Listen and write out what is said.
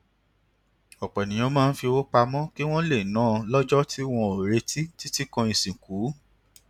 òpọ ènìyàn máa ń fi owó pamọ kí wón lè ná lójọ tí wọn ò retí títí kan ìsìnkú